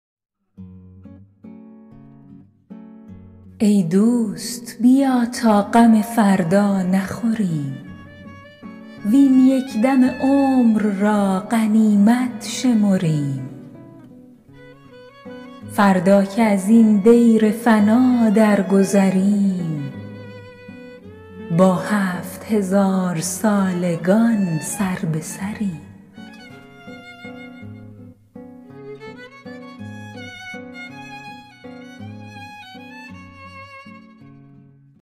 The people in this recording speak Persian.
ای دوست بیا تا غم فردا نخوریم وین یک دم عمر را غنیمت شمریم فردا که ازین دیر فنا درگذریم با هفت هزارسالگان سربه سریم